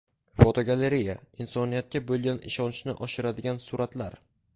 Fotogalereya: Insoniyatga bo‘lgan ishonchni oshiradigan suratlar.